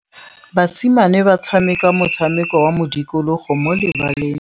Basimane ba tshameka motshameko wa modikologô mo lebaleng.